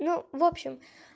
ну в общем